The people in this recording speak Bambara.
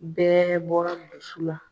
Bɛɛ bɔra muso la